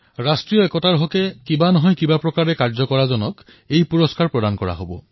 এই পুৰস্কাৰ তেৱেঁই পাব যিজনে ৰাষ্ট্ৰীয় ঐক্যৰ বাবে যোগদান কৰিছে